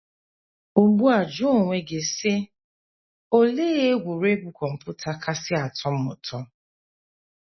Ugbu a jụọ onwe gị, sị: ‘ Olee egwuregwu kọmputa kasị atọ m ụtọ?